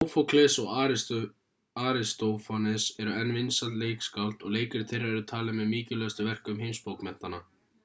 sófókles og aristófanes eru enn vinsæl leikskáld og leikrit þeirra eru talin með mikilvægustu verkum heimsbókmenntanna